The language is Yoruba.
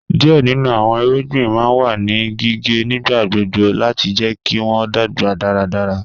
Díẹ̀ nínu àwọn ìrúgbìn ma n wà ní gíǵẹ̀ nígbàgbọ̀gbọ̀ láti jẹ̀ kí wọn dágba dáràdárà